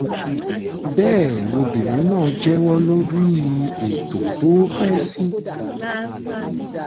bẹ́ẹ̀ lobìnrin náà jẹ́wọ́ lórí ètò tó pẹ́ sí